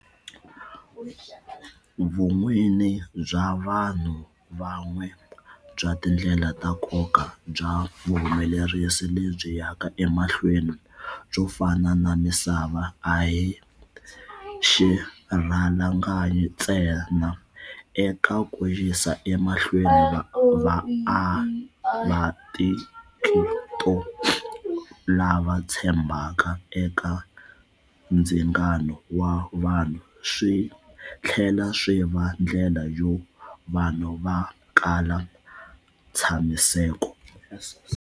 Vun'wini bya vanhu van'we bya tindlela ta nkoka bya vuhumelerisi lebyi yaka emahlweni byo fana na misava a hi xirhalanganyi ntsena eka ku yisa emahlweni vaatikito lava tshembhaka eka ndzingano wa vanhu, swi tlhela swi va ndlela yo va vanhu va kala ntshamiseko.